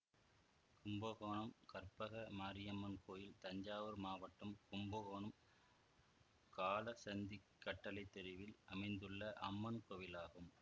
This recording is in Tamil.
கும்பகோணம் கற்பக மாரியம்மன் கோயில் தஞ்சாவூர் மாவட்டம் கும்பகோணம் காலசந்திக்கட்டளைத்தெருவில் அமைந்துள்ள அம்மன் கோயிலாகும்